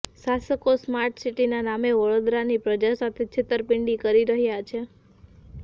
શાસકો સ્માર્ટસીટીના નામે વડોદરાની પ્રજા સાથે છેતરપીંડી કરી રહ્યા છે